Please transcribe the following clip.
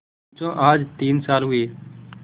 पंचो आज तीन साल हुए